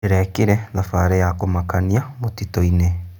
Ndĩrekire thabarĩ ya kũmakania mũtitũ-inĩ.